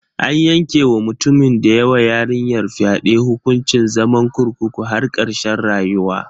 An yanke wa mutumin da ya wa yarinyar fyade hukuncin zaman kurkukun har karshen rayuwa.